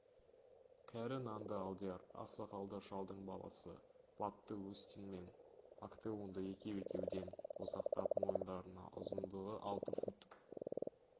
кәрі нанды алдияр ақсақалды шалдың баласы батты остин мен актеонды екеу-екеуден қосақтап мойындарына ұзындығы алты фут